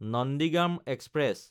Nandigram express